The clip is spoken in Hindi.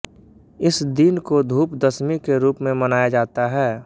इस दिन को धूप दशमी के रूप में मनाया जाता है